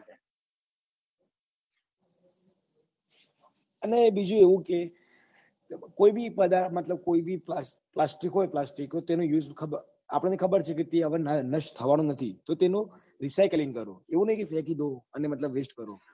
અને બીજું એવું કે કોઈ બી પદાર્થ મતલબ કોઈ બી પ્લાસ્ટિક હોય પ્લાસ્ટિક તેને use ખબર આપણને ખબર છે કે તે હવે નસ્ટ થવા નું નથી તો તેનો recycling કરો એવું નહિ કે ફેંકી દો અને મતલબ west કરો